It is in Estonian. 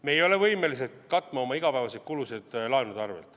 Me ei ole võimelised katma oma igapäevaseid kulusid laenude arvelt.